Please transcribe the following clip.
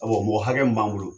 Awɔ mɔgɔ hakɛ'an bolo.